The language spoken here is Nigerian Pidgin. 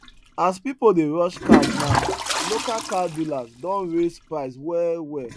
as people dey rush cars now local car dealers don raise price well well